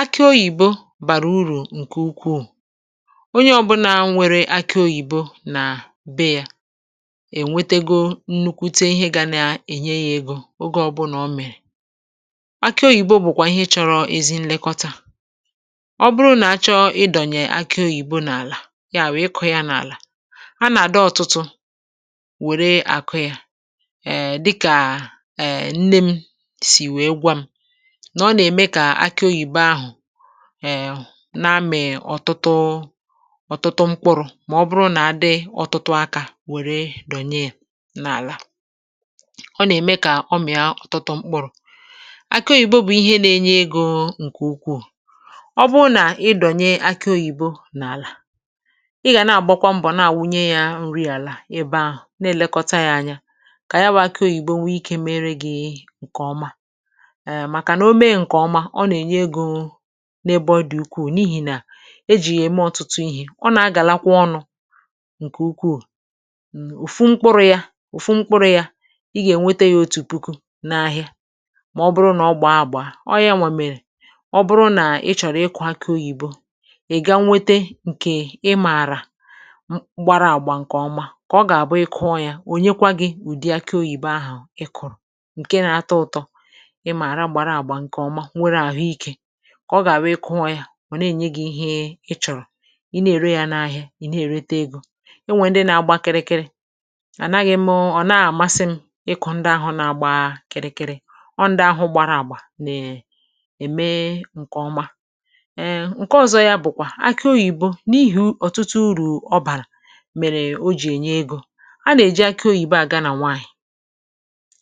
Akị oyìbò bàrà uru nke ukwu. Onye ọ́bụ̀nà nwere akị oyìbò nà bèe ya, ènwetego nnụkwute ihe gà na-ènye ya égo. Oge ọ́bụ̀nà ọ mèrè, akị oyìbò bụ́kwa ihe chọrọ ezi nlekọta. Ọ̀ bụrụ̀ nà achọ ị́dọnyè akị oyìbò nà àlà ya, wèe kọ̀ ya n’álà a nà-àdọ̀ ọtụtụ, wèrè àkụ ya. Èè, dịkà nne m sịrị, wèrè gwa m, ì gà na-àgbakwa mbọ̀ na àwụnye ya nri àlà ebe ahụ̀, na-èlekọta ya anya, kà ya bụ́ akị oyìbò nwee ike, mèré gị nke ọma n’ebe ọdí ukwu. ehm N’ihi nà e ji ya ème ọ̀tụtụ ihe, ọ̀ nà-agàlakwa ọnụ nke ukwu. Ụ̀fụ̀ mkpụrụ ya, Ụ̀fụ̀ mkpụrụ ya — ì gà-ènwete ya otu puku n’ahịa. Mà ọ̀ bụrụ̀ nà ọ̀ gbàà àgbà, ọ̀ ya nwọ̀ mèrè.Ọ̀ bụrụ̀ nà ị̀ chọ̀rọ̀ ị́kụ akị oyìbò, ị̀ gà-nwete nke ìmàrà gbara àgbà, nke ọma kà ọ̀ gà-àbụ. Ị̀ kụọ ya, ọ̀ nà-enye gị́ ùdi akị oyìbò ahụ̀. Ị̀ kụ̀rụ̀ nke nà-atọ̀ ụtọ, ọ̀ gà-àhụ̀. Ị́kụ nwa ya mà nà-ènye gị ihe ị̀ chọ̀rọ̀, ị̀ na-èrè ya n’ahịa, ị̀ na-èrè té égo.Ị̀ nwè ndị nà-agbà kịrịkịrị — ànàghị mụ́ hmm ọ̀ na-àmasị m ị́kụ ndị ahụ nà-agbà kịrịkịrị. Ọ̀, ndị ahụ gbàrà àgbà nà-ème nke ọma. Èè, nke ọzọ ya bụ́kwa akị oyìbò. N’ihi ọ̀tụtụ uru ọ bàrà, mèrè o jì ènye égo. A nà-èjikwa akị oyìbò àgà nà nwaànyị̀